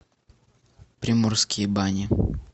приморские бани